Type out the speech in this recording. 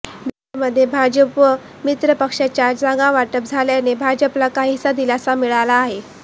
बिहारमध्ये भाजप व मित्रपक्षांमध्ये जागावाटप झाल्याने भाजपला काहीसा दिलासा मिळाला आहे